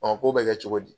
ko bɛ kɛ cogo di